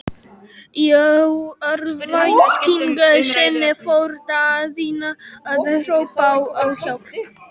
Í örvæntingu sinni fór Daðína að hrópa á hjálp.